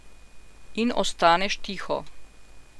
In ostaneš tiho.